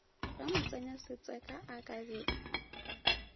ge motsenyasetseka a ka be